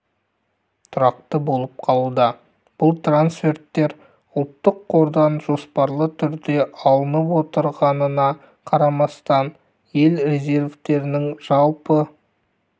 тұрақты болып қалуда бұл трансферттер ұлттық қордан жоспарлы түрде алынып отырғанына қарамастан ел резервтерінің жалпы